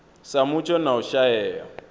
sa mutsho na u shaea